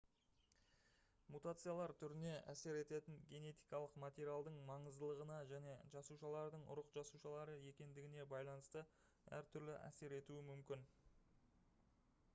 мутациялар түріне әсер ететін генетикалық материалдың маңыздылығына және жасушалардың ұрық жасушалары екендігіне байланысты әр түрлі әсер етуі мүмкін